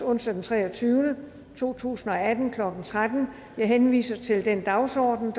onsdag den treogtyvende maj to tusind og atten klokken tretten jeg henviser til den dagsorden